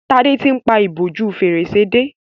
Tade tí ń pá ìbòjú Fèrèsé dé.